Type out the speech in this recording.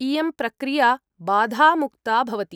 इयं प्रक्रिया बाधामुक्ता भवति।